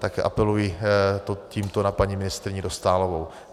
Tak apeluji tímto na paní ministryni Dostálovou.